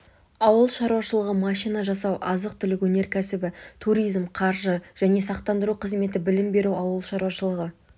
ауыл шаруашылығы машина жасау азық-түлік өнеркәсібі туризм қаржы және сақтандыру қызметі білім беру ауыл шаруашылығы